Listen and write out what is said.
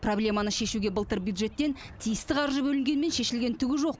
проблеманы шешуге былтыр бюджеттен тиісті қаржы бөлінгенімен шешілген түгі жоқ